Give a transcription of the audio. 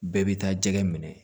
Bɛɛ bi taa jɛgɛ minɛ